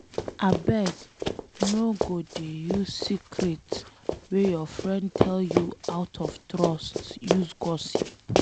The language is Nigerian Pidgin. Abeg no go dey use secret wey your friend tell you out of trust use gossip.